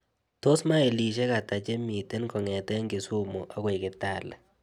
Tos' mailisiek ata chemiten kong'eten kisumu agoi kitale